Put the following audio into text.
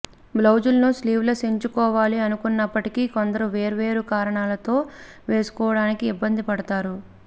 బ్లవుజుల్ని sleeveless ఎంచుకోవాలి అనుకున్నప్పటికీ కొందరు వేర్వేరు కారణాలతో వేసుకోవడానికి ఇబ్బంది పడతారు